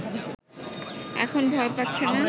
এখন ভয় পাচ্ছে না